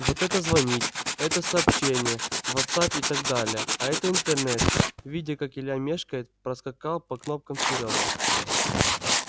вот это звонить это сообщения вотсапп и так далее а это интернет видя как илья мешкает проскакал по кнопкам серёга